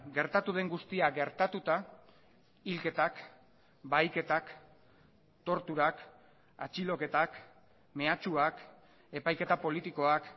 gertatu den guztia gertatuta hilketak bahiketak torturak atxiloketak mehatxuak epaiketa politikoak